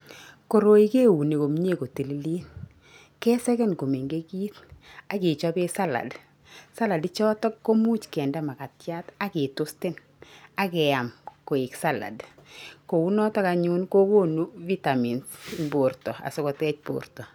Koroi keuni komnyee kotililit kesegen komengechit akechopee salad , salad ichotok komuch kende makatiat aketoasten akeam koek salad kounotok anyun kokonu vitamins eng borta askikotech borta.